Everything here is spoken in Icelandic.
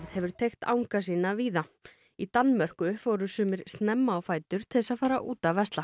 hefur teygt anga sína víða í Danmörku fóru sumir snemma á fætur til þess að fara út að versla